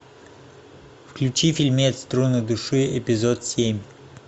включи фильмец струны души эпизод семь